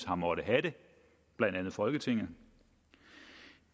har måttet have det blandt andet folketinget